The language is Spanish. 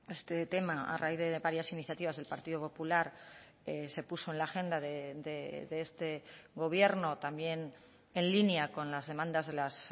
este tema a raíz de varias iniciativas del partido popular se puso en la agenda de este gobierno también en línea con las demandas de las